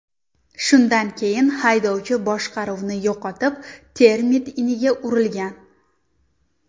Shundan keyin haydovchi boshqaruvni yo‘qotib, termit iniga urilgan.